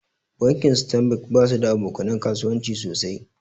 Bankin stanbik basu da aboka nan kasuwanci sosai.